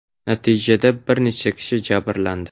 Natijada bir necha kishi jabrlandi.